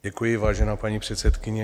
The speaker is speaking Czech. Děkuji, vážená paní předsedkyně.